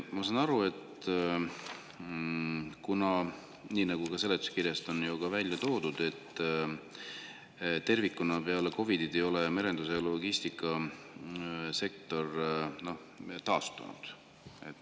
Ma saan aru, et nii nagu ka seletuskirjas on välja toodud, tervikuna ei ole peale COVID-it merendus- ja logistikasektor taastunud.